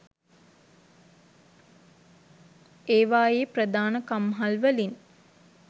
ඒවායේ ප්‍රධාන කම්හල්වලින්